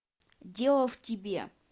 дело в тебе